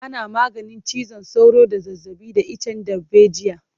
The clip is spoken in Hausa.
Ana maganin ciwon sauro da zazzabi da icen darbejiya.